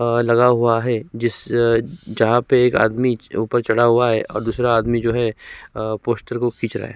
आ लगा हुआ है जिस जहाँ पे एक आदमी ऊपर चढ़ा हुआ है और दूसरा आदमी जो है अ पोस्टर को खींच रहा है।